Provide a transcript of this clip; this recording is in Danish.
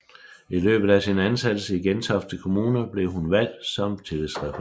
I løbet af sin ansættelse i Gentofte Kommune blev hun valgt som tillidsrepræsentant